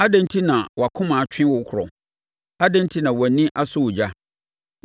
Adɛn enti na wʼakoma atwe wo korɔ adɛn enti na wʼani asɔ ogya,